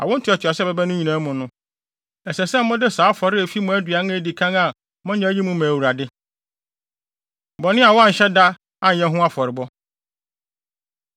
Awo ntoatoaso a ɛbɛba no nyinaa mu no, ɛsɛ sɛ mode saa afɔre a efi mo aduan a edi kan a moanya mu yi ma Awurade. Bɔne A Wɔanhyɛ Da Anyɛ Ho Afɔrebɔ